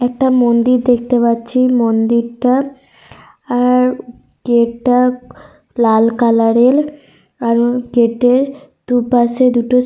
একটা মন্দির দেখতে পাচ্ছি। মন্দিরটার আর গেট -টা লাল কালার -এর। আর গেট -এর দু-পাশে দুটো সি--